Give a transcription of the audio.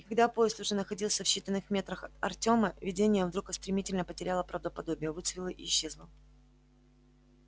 и когда поезд уже находился в считаных метрах от артёма видение вдруг стремительно потеряло правдоподобие выцвело и исчезло